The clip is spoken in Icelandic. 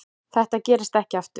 Þetta gerist ekki aftur.